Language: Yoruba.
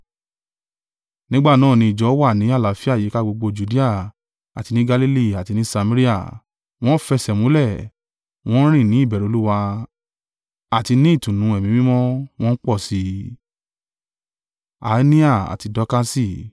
Nígbà náà ni ìjọ wà ni àlàáfíà yíká gbogbo Judea àti ni Galili àti ni Samaria, wọn ń fẹsẹ̀múlẹ̀, wọn ń rìn ní ìbẹ̀rù Olúwa, àti ni ìtùnú Ẹ̀mí Mímọ́, wọn ń pọ̀ sí i.